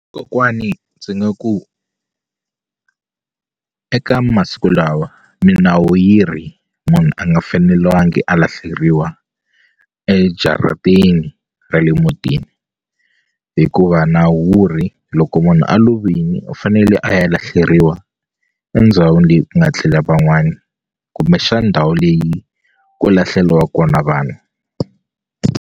Kokwani ndzi nga ku eka masiku lawa minawu yi ri munhu a nga fanelangi a lahleriwa ejarateni ra le mutini hikuva nawu wu ri loko munhu a lovini u fanele a ya lahleriwa endhawini leyi ku nga tlela van'wani kumbexani ndhawu leyi ku lahleliwa kona vanhu.